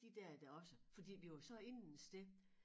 De der er da også fordi vi var så inde et sted